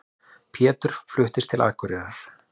Pétur fluttist til Akureyrar.